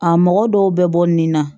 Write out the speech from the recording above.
A mɔgɔ dɔw bɛ bɔ nin na